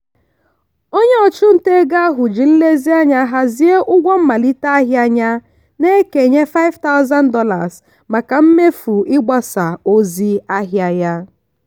onye ọchụnta ego ahụ ji nlezianya hazie ụgwọ mmalite ahịa ya na-ekenye $5000 maka mmefu ịgbasa ozi ahịa ha